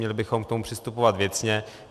Měli bychom k tomu přistupovat věcně.